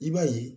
I b'a ye